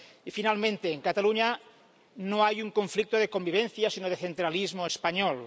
Y, finalmente, en Cataluña no hay un conflicto de convivencia, sino de centralismo español.